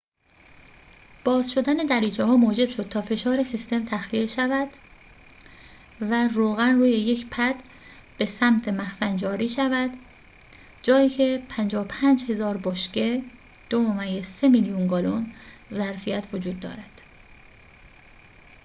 باز شدن دریچه‌ها موجب شد تا فشار سیستم تخلیه شود و روغن روی یک پد به سمت مخزن جاری شود، جایی که 55000 بشکه 2.3 میلیون گالن ظرفیت وجود دارد